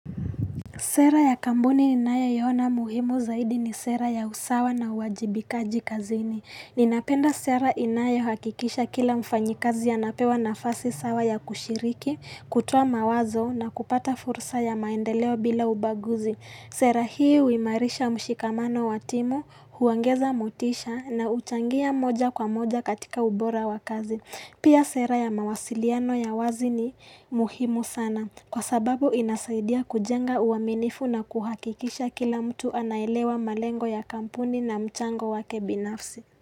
Sera ya kampuni ninayo iona muhimu zaidi ni sera ya usawa na uwajibikaji kazini. Ninapenda sera inayo hakikisha kila mfanyikazi anapewa nafasi sawa ya kushiriki, kutoa mawazo na kupata fursa ya maendeleo bila ubaguzi. Sera hii huimarisha mshikamano watimu, huongeza motisha na huchangia moja kwa moja katika ubora wa kazi. Pia sera ya mawasiliano ya wazi ni muhimu sana kwa sababu inasaidia kujenga uaminifu na kuhakikisha kila mtu anaelewa malengo ya kampuni na mchango wake binafsi.